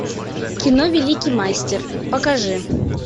кино великий мастер покажи